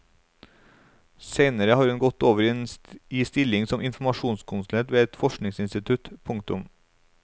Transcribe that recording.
Seinere har hun gått over i stilling som informasjonskonsulent ved et forskningsinstitutt. punktum